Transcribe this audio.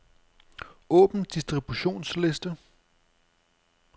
Åbn distributionsliste.